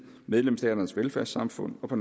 medlemsstaternes velfærdssamfund og på